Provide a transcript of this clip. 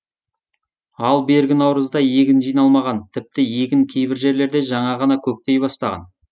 ал бергі наурызда егін жиналмаған тіпті егін кейбір жерлерде жаңа ғана көктей бастаған